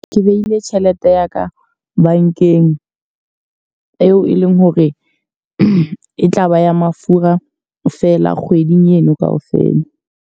Ke behile tjhelete ya ka bankeng eo e leng hore e tlaba ya mafura fela kgweding ena ka ofela.